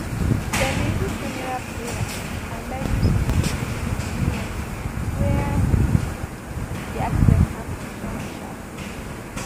dem bin do funeral prayer and bury some of di victims near where um di accident happun sharpsharp